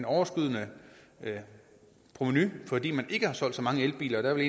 overskydende provenu fordi man ikke har solgt så mange elbiler der vil